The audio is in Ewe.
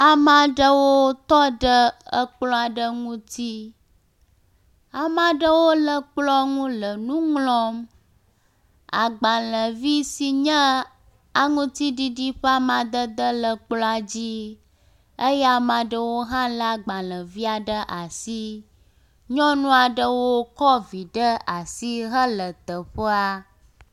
Ame aɖewo tɔ ɖe ekplɔ aɖe ŋuti. Ame aɖewo le kplɔ ŋu le nu ŋlɔm. Agbalevi si nye aŋutiɖiɖi ƒe amadede le kplɔa dzi eye ame aɖewo hã le agbalevia ɖe asi. Nyɔnu aɖewo kɔ vi ɖe asi tɔ l teƒea.